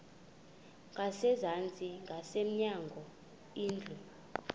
ngasezantsi ngasemnyango indlu